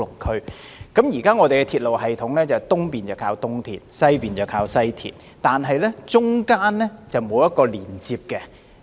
按現時的鐵路系統安排，東面依靠東鐵線，西面則依靠西鐵線，但兩者之間並無連接。